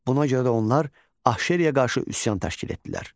Buna görə də onlar Ahşeriyə qarşı üsyan təşkil etdilər.